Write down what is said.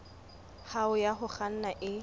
hao ya ho kganna e